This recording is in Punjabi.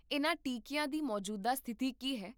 ਇਹਨਾਂ ਟੀਕੀਆਂ ਦੀ ਮੌਜੂਦਾ ਸਥਿਤੀ ਕੀ ਹੈ?